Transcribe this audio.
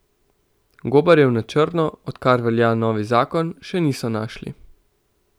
Gobarjev na črno, odkar velja novi zakon, še niso našli.